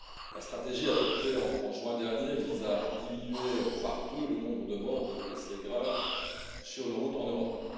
La stratégie adoptée en juin dernier vise à diviser par deux le nombre de morts et de blessés graves sur nos routes, en Europe.